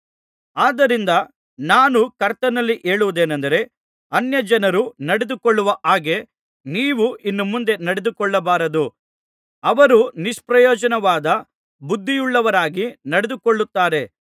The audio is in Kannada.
ಆದ್ದರಿಂದ ನಾನು ಕರ್ತನಲ್ಲಿ ಹೇಳುವುದೇನಂದರೆ ಅನ್ಯಜನರು ನಡೆದುಕೊಳ್ಳುವ ಹಾಗೆ ನೀವು ಇನ್ನು ಮುಂದೆ ನಡೆದುಕೊಳ್ಳಬಾರದು ಅವರು ನಿಷ್ಪ್ರಯೋಜನವಾದ ಬುದ್ಧಿಯುಳ್ಳವರಾಗಿ ನಡೆದುಕೊಳ್ಳುತ್ತಾರೆ